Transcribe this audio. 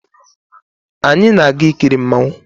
Anyi na-aga ikiri mmanwu